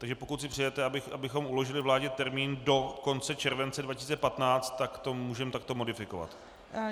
Takže pokud si přejete, abychom uložili vládě termín do konce července 2015, tak to můžeme takto modifikovat.